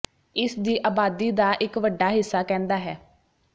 ਇਸ ਦੀ ਆਬਾਦੀ ਦਾ ਇਕ ਵੱਡਾ ਹਿੱਸਾ ਕਹਿੰਦਾ ਹੈ